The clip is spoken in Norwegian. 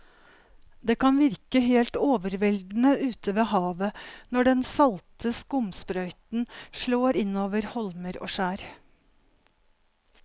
Det kan virke helt overveldende ute ved havet når den salte skumsprøyten slår innover holmer og skjær.